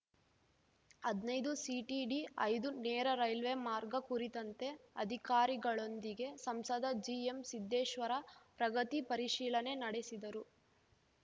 ಹದ್ನಾಯ್ದುಸಿಟಿಡಿಐದು ನೇರ ರೇಲ್ವೆ ಮಾರ್ಗ ಕುರಿತಂತೆ ಅಧಿಕಾರಿಗಳೊಂದಿಗೆ ಸಂಸದ ಜಿಎಂಸಿದ್ದೇಶ್ವರ ಪ್ರಗತಿ ಪರಿಶೀಲನೆ ನಡೆಸಿದರು